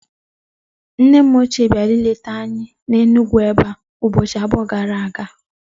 Nne m ochie biara ileta anyi n'Enugwuebea ubochi abuo gara aga